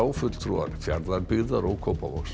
fulltrúar Fjarðabyggðar og Kópavogs